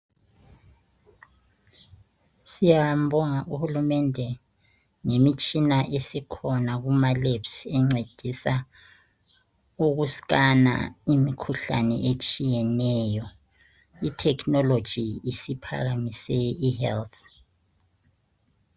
Siyambonga uhulumende ngemitshina esikhona kumalabs encedisa ukuscanner imikhuhlane etshiyeneyo. Itechnology isiphakamise ihealth.